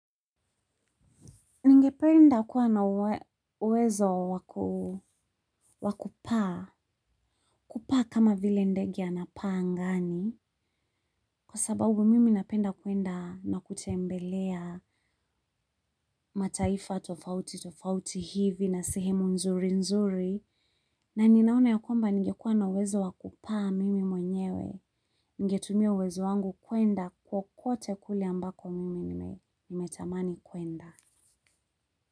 Ningependa kuwa na uwezo wa kupaa, kupaa kama vile ndege anapaa angani, kwa sababu mimi napenda kuenda na kutembelea mataifa tofauti tofauti hivi na sehemu nzuri nzuri, na ninaona ya kwamba ningekuwa na uwezo wa kupaa mimi mwenyewe, ningetumia uwezo wangu kuenda kokote kule ambako mimi nimetamani kuenda.